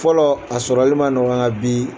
Fɔlɔ a sɔrɔli ma nɔgɔ nka bi